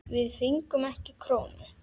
Við fengum ekki krónu.